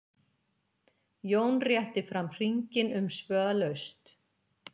Jón rétti fram hringinn umsvifalaust.